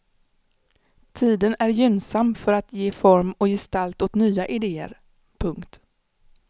Tiden är gynnsam för att ge form och gestalt åt nya idéer. punkt